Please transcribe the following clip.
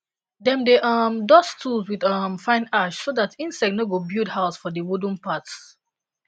dem dey um dust tools with um fine ash so dat insect no go build house for the wooden parts